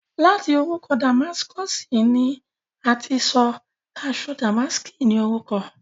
láti orúkọ Damáskọ̀sì ni a ti sọ aṣọ dàmáàskí ní orúkọ.